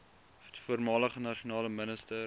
voormalige nasionale minister